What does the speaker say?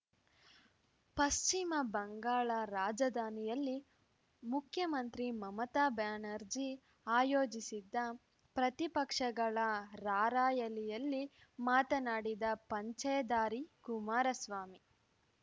ಪಶ್ಚಿಮ ಬಂಗಾಳ ರಾಜಧಾನಿಯಲ್ಲಿ ಮುಖ್ಯಮಂತ್ರಿ ಮಮತಾ ಬ್ಯಾನರ್ಜಿ ಆಯೋಜಿಸಿದ್ದ ಪ್ರತಿಪಕ್ಷಗಳ ರಾರ‍ಯಲಿಯಲ್ಲಿ ಮಾತನಾಡಿದ ಪಂಚೆಧಾರಿ ಕುಮಾರಸ್ವಾಮಿ